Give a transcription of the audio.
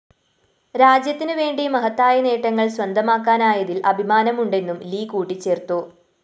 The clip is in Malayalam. രാജ്യത്തിനുവേണ്ടി മഹത്തായ നേട്ടങ്ങള്‍ സ്വന്തമാക്കാനായതില്‍ അഭിമാനമുണ്ടെന്നും ലി കൂട്ടിച്ചേര്‍ത്തു